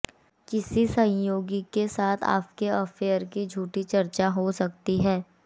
किसी सहयोगी के साथ आपके अफेयर की झूठी चर्चा हो सकती है